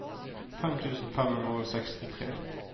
fem tusen fem hundre og sekstitre